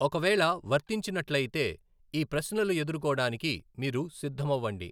ఒకవేళ వర్తించినట్లయితే, ఈ ప్రశ్నలు ఎదుర్కోడానికి మీరు సిద్ధమవ్వండి.